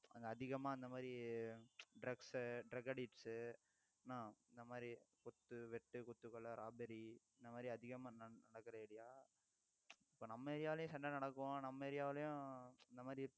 அங்க அதிகமா இந்த மாதிரி drugs, drug addicts என்னா இந்த மாதிரி குத்து, வெட்டு, குத்து, கொலை, robbery இந்த மாதிரி அதிகமா ந~ நடக்குற area இப்ப நம்ம area லயும் சண்டை நடக்கும் நம்ம area விலேயும் இந்த மாதிரி